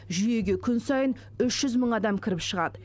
жүйеге күн сайын үш жүз мың адам кіріп шығады